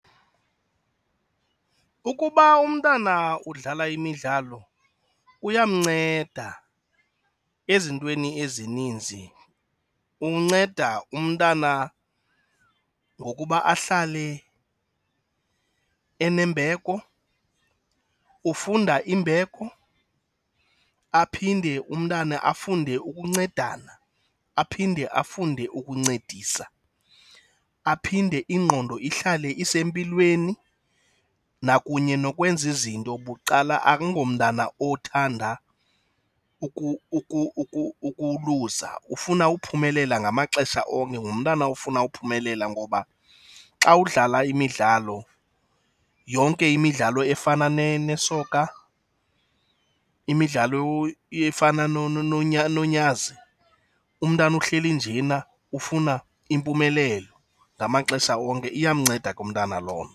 Ukuba umntana udlala imidlalo kuyamnceda ezintweni ezininzi. Umnceda umntana ngokuba ahlale enembeko, ufunda imbeko. Aphinde umntana afunde ukuncedana, aphinde afunde ukuncedisa. aphinde ingqondo ihlale isempilweni nakunye nokwenza izinto bucala, akungomntana othanda ukuluza. Ufuna uphumelela ngamaxesha onke, ngumntana ofuna uphumelela. Ngoba xa udlala imidlalo, yonke imidlalo efana nesoka, imidlalo efana nonyazi, umntana uhleli njena ufuna impumelelo ngamaxesha onke. Iyamnceda ke umntana lonto.